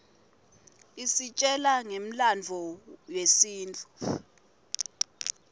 isitjela ngemlandvo yesintfu